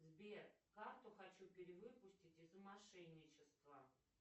сбер карту хочу перевыпустить из за мошенничества